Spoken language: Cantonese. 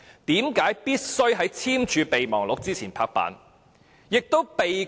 為何必須在簽署備忘錄前"拍板"？